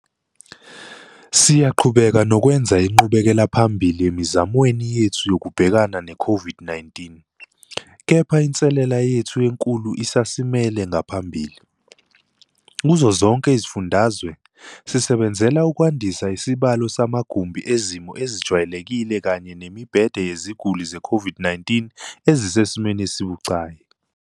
Siyaqhubeka nokwenza inqubekelaphambili emizamweni yethu yokubhekana ne-COVID-19, kepha inselele yethu enkulu isasimele ngaphambili. Kuzo zonke izifundazwe, sisebenzela ukwandisa isibalo samagumbi ezimo ezijwayelekile kanye nemibhede yeziguli ze-COVID-19 ezisesimweni esibucayi.